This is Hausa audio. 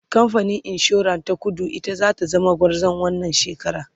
kamfanin insura ta kudu ita zata zama gwarzon wannan shekara